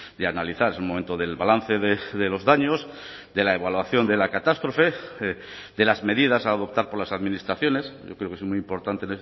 de analizar es el momento del balance de los daños de la evaluación de la catástrofe de las medidas a adoptar por las administraciones yo creo que es muy importante